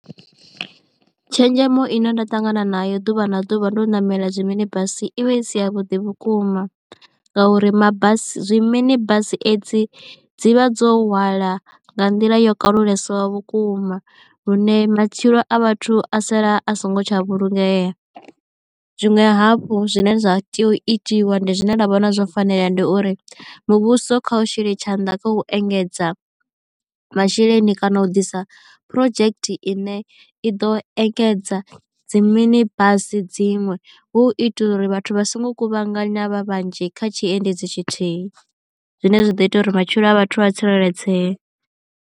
Tshenzhemo ine nda ṱangana nayo ḓuvha na ḓuvha ndo ṋamela zwi mini basi i vha i si ya vhuḓi vhukuma ngauri mabasi zwi mani basi edzi dzi vha dzo hwala nga nḓila yo kalulesaho vhukuma lune matshilo a vhathu a sala a so ngo tsha vhulungea. Zwiṅwe hafhu zwine zwa tea u itiwa ndi zwine nda vhona zwo fanela ndi uri muvhuso kha u shele tshanḓa kha u engedza masheleni kana u ḓisa project ine i ḓo engedza dzi mini basi dziṅwe hu itela uri vhathu vha songo kuvhangana vha vhanzhi kha tshiendedzi tshithihi zwine zwa ḓo ita uri matshilo a vhathu vha tsireledzee.